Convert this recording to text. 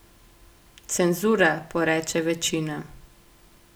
Cenzura, poreče večina.